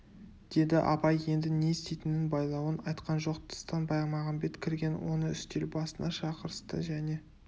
деді абай енді не істейтінін байлауын айтқан жоқ тыстан баймағамбет кірген оны үстел басына шақырысты және